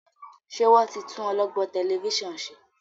ṣe wón tí tún olọgbọn Tẹlifíṣàn ṣe?